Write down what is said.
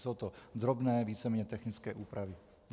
Jsou to drobné, víceméně technické úpravy.